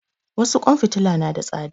Wasu ƙwan fitila na da tsada